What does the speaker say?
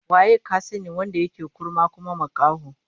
Waye ka sani wanda yake kurma kuma makaho?